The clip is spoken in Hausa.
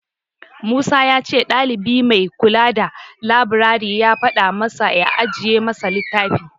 Musa ya ce ɗalibi mai kula da labirari ya faɗa masa ya ajiye masa littafi.